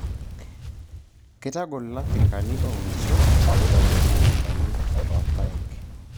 Keitagol lafrikani ooinisho pee eitobirr mukuntani oo irpaek.